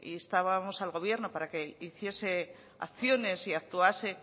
instábamos al gobierno para que hiciese acciones y actuase